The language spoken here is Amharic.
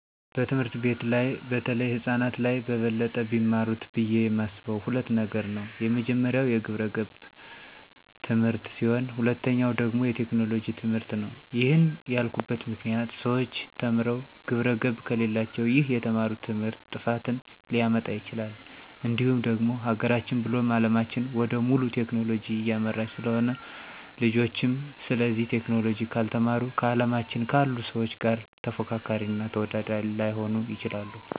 በትምህርት ቤቶች በተለይ ህፃናት ላይ በበለጠ ቢማሩት ብዬ የማስበው ሁለት ነገር ነው፤ የመጀመሪያው የግብረገብ ትምህርት ሲሆን ሁለተኛው ደግሞ የቴክኖሎጂ ትምህርትነው። ይህንን ያልኩበት ምክንያት ሰዎች ተምረው ግብረገብ ከሌላቸው ይህ የተማሩት ትምህርት ጥፋትን ሊያመጣ ይችላል፤ እንዲሁም ደግሞ ሀገራችን ብሎም አለማችን ወደ ሙሉ ቴክኖሎጂ እያመራች ስለሆነ ልጆችም ስለዚህ ቴክኖሎጂ ካልተማሩ ከአለማችን ካሉ ሰዎች ጋር ተፎካካሪ እና ተወዳዳሪ ላይሆኑ ይችላሉ።